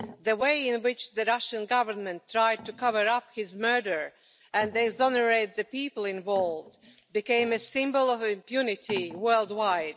The way in which the Russian Government tried to cover up his murder and exonerate the people involved became a symbol of impunity worldwide.